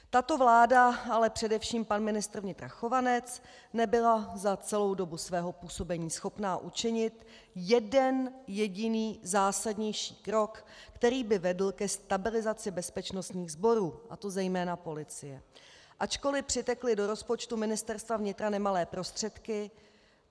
Tato vláda, ale především pan ministr vnitra Chovanec, nebyla za celou dobu svého působení schopna učinit jeden jediný zásadnější krok, který by vedl ke stabilizaci bezpečnostních sborů, a to zejména policie, ačkoli přitekly do rozpočtu Ministerstva vnitra nemalé prostředky.